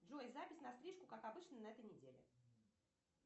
джой запись на стрижку как обычно на этой неделе